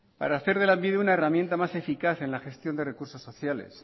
para hacer de lanbide una herramienta más eficaz en la gestión de recursos sociales